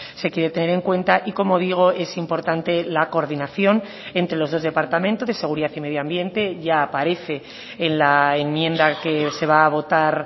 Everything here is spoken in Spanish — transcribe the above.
se quiere tener en cuenta y como digo es importante la coordinación entre los dos departamentos de seguridad y medio ambiente ya aparece en la enmienda que se va a votar